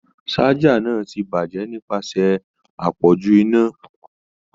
Saja náà ti bajẹ nipasẹ apọju iná.